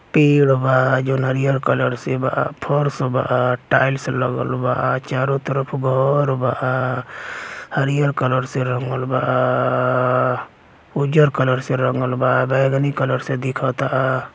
पेड़ बा जों हरियर कलर से बा फर्स बा टाईल्स लगल बा चारो तरफ घर बा हरियर कलर से रंगल बा उजर कलर से रंगल बा बैगनी कलर से दिखल ता।